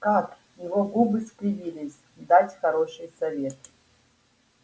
как его губы скривились дать хороший совет